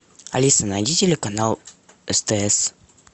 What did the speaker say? алиса найди телеканал стс